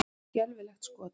Skelfilegt skot!